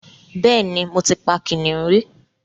Bẹ́ẹ̀ ni, mo ti pa kìnnìún rí